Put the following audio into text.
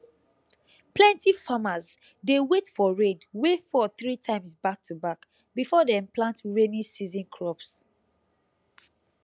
plenty farmers dey wait for rain wey fall three times back to back before dem plant rainy season crops